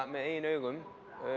með eigin augum